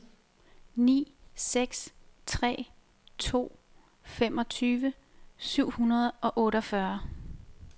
ni seks tre to femogtyve syv hundrede og otteogfyrre